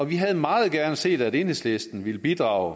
vi havde meget gerne set at enhedslisten ville bidrage